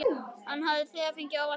Hann hafði þegar fengið óvænta gjöf.